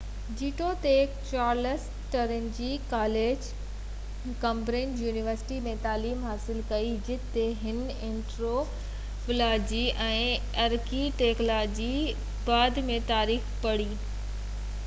جيتوڻيڪ، Charles Trinity College Cambridge University ۾ تعليم حاصل ڪئي جتي هن اينٿروپولاجي ۽ آرڪيالاجي، ۽ بعد ۾ تاريخ پڙهي، هڪ 2:2 هيٺين سيڪنڊ ڪلاس ڊگري حاصل ڪئي